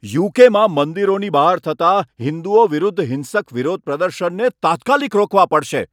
યુ.કે.માં મંદિરોની બહાર થતા હિંદુઓ વિરુદ્ધ હિંસક વિરોધ પ્રદર્શનને તાત્કાલિક રોકવા પડશે.